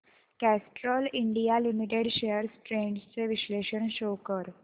Castrol India limited shares trends चे विश्लेषण show कर